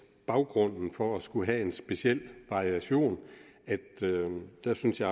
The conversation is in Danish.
baggrunden for at skulle have en speciel variation at der synes jeg